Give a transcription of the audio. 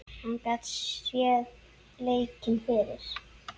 Hann gat séð leikinn fyrir.